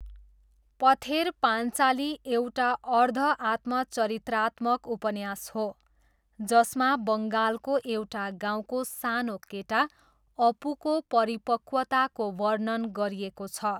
पथेर पान्चाली एउटा अर्ध आत्मचरित्रात्मक उपन्यास हो जसमा बङ्गालको एउटा गाउँको सानो केटा अपूको परिपक्वताको वर्णन गरिएको छ।